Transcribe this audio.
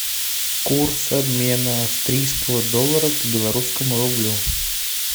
курс обмена австрийского доллара к белорусскому рублю